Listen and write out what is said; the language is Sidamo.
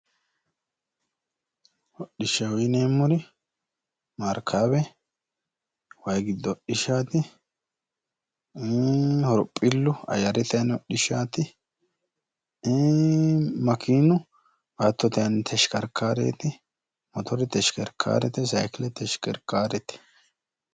Hodhishshaho yineemmori maarkaawe waayi giddo hodhishshaati ii horophillu ayyirete aani hodhishshaati ii makeeno baattote aani teshkerkareeti motore teshkerkaarete sayiikkile teshkerkaarete